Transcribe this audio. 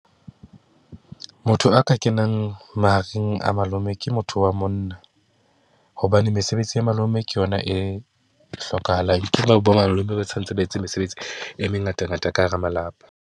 Motho a ka kenang mahareng a malome ke motho wa monna, hobane mesebetsi ya malome ke yona e hlokahalang ke bo malome ba tshwanetse ba etse mesebetsi e mengatangata ka hara malapa.